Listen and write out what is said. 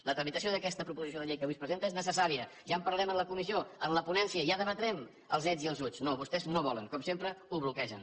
la tramitació d’aquesta proposició de llei que avui es presenta és necessària ja en parlarem en la comissió en la ponència ja debatrem els uts i els uts no vostès no volen com sempre ho bloquegen